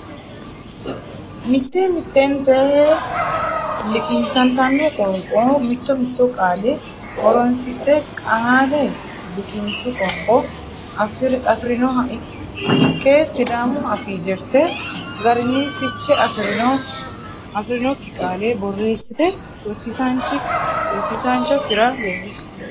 Mitte mittente liqinsantanno qoonqonni mitto mitto qaale horonsidhe qaale liqinsu qoonqo afi rinoha ikke Sidaamu Afii jirte garinni fiche afi rinokki qaale borreessite rosiisaanchi okkira leellishi.